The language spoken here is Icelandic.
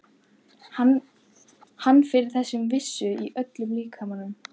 Fann fyrir þeirri vissu í öllum líkamanum.